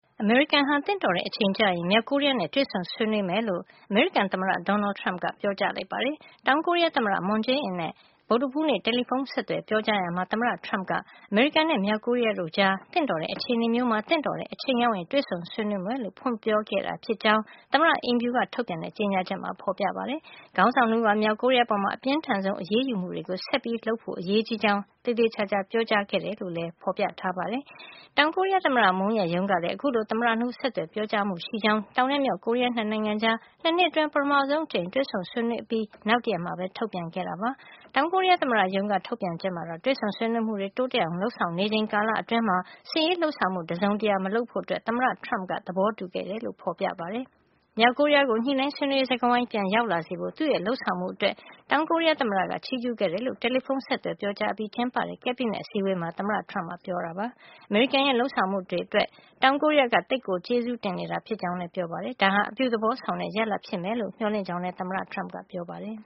အမေရိကန်ဟာ သင့်တော်တဲ့အချိန်ကျရင် မြောက်ကိုရီးယားနဲ့ တွေ့ဆုံဆွေးနွေးမယ်လို့ အမေရိကန် သမ္မတ Donald Trump က ပြောကြားလိုက်ပါတယ်။ တောင်ကိုရီးယား သမ္မတ Moon Jae-in နဲ့ ဗုဒ္ဓဟူးနေ့ တယ်လီဖုံး ဆက်သွယ် ပြောကြားရာမှာ သမ္မတ Trump က အမေရိကန်နဲ့ မြောက်ကိုရီးယား တို့ကြား သင့်တော်တဲ့ အခြေနေမျိုးမှာ သင့်တော်တဲ့အချိန်ရောက်ရင် တွေ့ဆုံဆွေးနွေးမယ်လို့ ဖွင့်ပြောခဲ့တာ ဖြစ်ကြောင်း သမ္မတ အိမ်ဖြူက ထုတ်ပြန်တဲ့ ကြေညာချက်မှာ ဖေါ်ပြပါတယ်။ ခေါင်းဆောင် ၂ ဦးဟာ မြောက်ကိုရီးယား အပေါ် အပြင်းထန်ဆုံး အရေးယူမှုတွေ ဆက်လက် လုပ်ဆောင်ဖို့ အရေးကြီးကြောင်း သေသေချာချာ ပြောကြားခဲ့တယ်လို့ ကြေညာချက်မှာ ဖေါ်ပြထားပါတယ်။ တောင်ကိုရီးယား သမ္မတ Moon ရဲ့ ရုံးကလည်း အခုလို သမ္မတ ၂ ဦး ဆက်သွယ်ပြောကြားမှု ရှိကြောင်း တောင်နဲ့ မြောက် ကိုရီးယား ၂ နိုင်ငံကြား ၂ နှစ်အတွင်း ပထမဆုံး အကြိမ် တွေ့ဆုံဆွေးနွေး အပြီး နောက်တရက်မှာပဲ ထုတ်ပြန်ခဲ့ပါတယ်။ တောင်ကိုရီးယား သမ္မတ ရုံးက ထုတ်ပြန်ချက်မှာတော့ တွေ့ဆုံဆွေးနွေးမှုတွေ တိုးတက် လုပ်ဆောင်နေချိန် ကာလ အတွင်းမှာ စစ်ရေးလုပ်ဆောင်မှု တခုမှမလုပ်ဖို့ သမ္မတ Trump က သဘောတူခဲ့တယ်လို့ ဖေါ်ပြထားပါတယ်။ မြောက်ကိုရီးယားကို ညှိနှိုင်းဆွေးနွေးရေး စကားဝိုင်း ပြန်ရောက်လာစေဖို့ သူ့ရဲ့ လုပ်ဆောင်မှု အတွက် တောင်ကိုရီးယား သမ္မတက ချီးကြူးခဲ့တယ်လို့ တယ်လီဖုံ ဆက်သွယ်ပြောကြား အပြီး ကျင်းပတဲ့ ကက်ဘိနက်အစည်းဝေးမှာ သမ္မတ Trump က ပြောကြားခဲ့ပါတယ်။ အမေရိကန်ရဲ့လုပ်ဆောင်မှု အတွက်တောင်ကိုရီးယားက သိပ်ကို ကျေးဇူးတင်နေတာ ဖြစ်ကြောင်းလည်း ပြောပါတယ်။ ဒါဟာ အပြုသဘော ဆောင်တဲ့ ရလဒ်ဖြစ်မယ်လို့ မျှော်လင့်ကြောင်း လည်း သမ္မတ Trump ကပြောပါတယ်